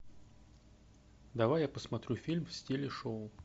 давай я посмотрю фильм в стиле шоу